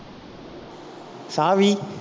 சாவி